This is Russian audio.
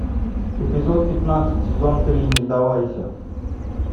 эпизод пятнадцать сезон три не сдавайся